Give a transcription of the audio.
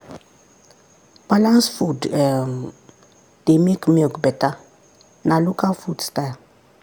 balanced food um dey make milk better na local food style.